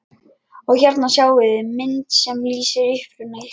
Og hérna sjáiði mynd sem lýsir uppruna ykkar.